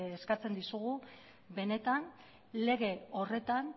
eskatzen dizugu benetan lege horretan